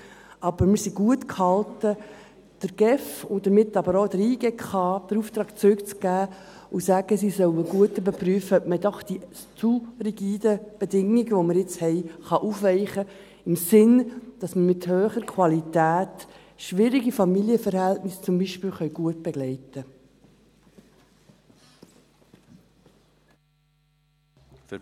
Aber wir sind gut gehalten, der GEF, und damit aber auch der JGK, den Auftrag zurückzugeben und zu sagen, sie sollen gut überprüfen, ob man doch diese zu rigiden Bedingungen, die wir jetzt haben, aufweichen kann, im Sinn, dass man mit hoher Qualität zum Beispiel schwierige Familienverhältnisse gut begleiten können.